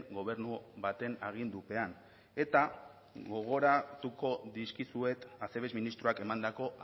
gobernu baten agindupean eta gogoratuko dizkizuet acebes ministroak emandako